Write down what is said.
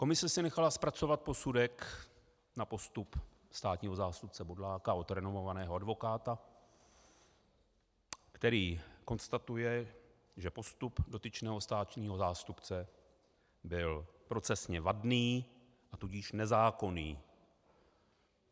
Komise si nechala zpracovat posudek na postup státního zástupce Bodláka od renomovaného advokáta, který konstatuje, že postup dotyčného státního zástupce byl procesně vadný, a tudíž nezákonný.